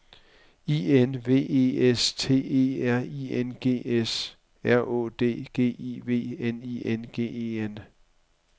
I N V E S T E R I N G S R Å D G I V N I N G E N